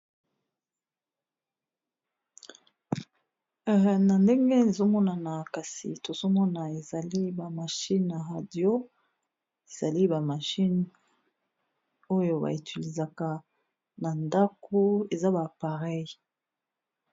Na ndenge ezomonana kasi tozomona ezali ba machine na radio ezali ba machine oyo ba utiliser na ndako eza ba appareils.